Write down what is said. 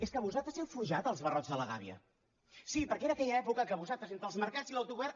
és que vosaltres heu forjat els barrots de la gàbia sí perquè era aquella època en què vosaltres entre els mercats i l’autogovern